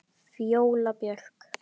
Fjóla Björk.